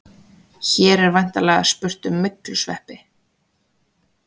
Hér er væntanlega spurt um myglusveppi.